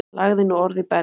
Lagði nú orð í belg.